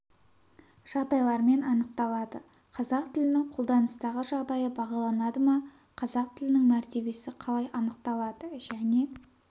жағдайлармен анықталады қазақ тілінің қолданыстағы жағдайы бағаланады ма қазақ тілінің мәртебесі қалай анықталады және